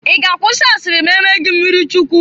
Ị ga-akwụsị asiri ma e mee gị mmirichukwu?